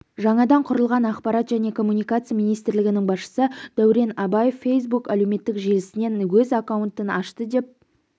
жаңадан құрылған ақпарат және коммуникация министрлігінің басшысы дәурен абаев фейсбук әлеуметтік желісінен өз аккаунтын ашты деп